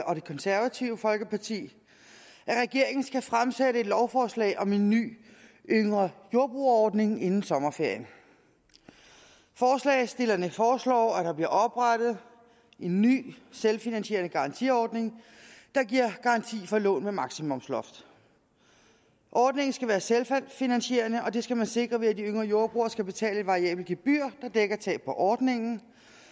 og det konservative folkeparti at regeringen skal fremsætte et lovforslag om en ny yngre jordbrugere ordning inden sommerferien forslagsstillerne foreslår at der bliver oprettet en ny selvfinansierende garantiordning der giver garanti for lån med maksimumsloft ordningen skal være selvfinansierende og det skal man sikre ved at de yngre jordbrugere skal betale et variabelt gebyr der dækker tab på ordningen